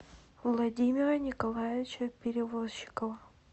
владимира николаевича перевозчикова